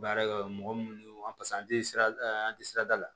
Baarakɛ yɔrɔ mɔgɔ minnu an an tɛ sirada an tɛ sirada la